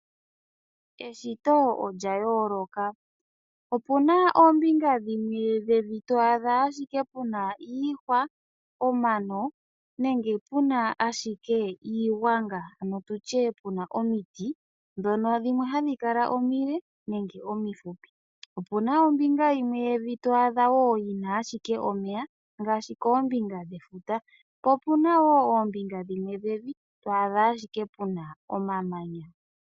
Eshito olya yooloka. Opuna oombinga dhimwe dhevi to adha ashike puna iihwa, omano, nenge puna ashike iigwanga ano tutye puna omiti dhono dhimwe hadhi kala omile nenge omifupi. Opuna ombinga yimwe yevi to adha wo yina ashike omeya ngaashi koombinga dhefula. Po opuna wo oombinga dhimwe dhevi to adha ashike puna omamanya.